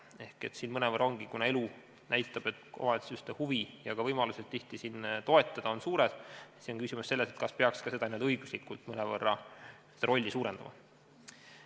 Ehk kuna elu näitab, et omavalitsuste huvi ja ka võimalused toetada on tihtipeale suur, siis on küsimus selles, kas peaks ka õiguslikult seda rolli mõnevõrra suurendama.